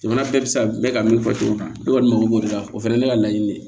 Jamana bɛɛ bɛ se ka mɛn ka min fɔ cogo min na ne kɔni mako b'o de la o fɛnɛ ye ne ka laɲini de ye